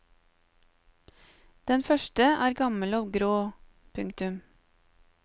Den første er gammel og grå. punktum